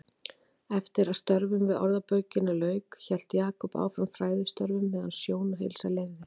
Eftir að störfum við Orðabókina lauk hélt Jakob áfram fræðistörfum meðan sjón og heilsa leyfði.